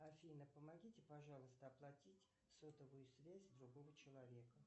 афина помогите пожалуйста оплатить сотовую связь другого человека